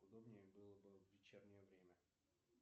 удобнее было бы в вечернее время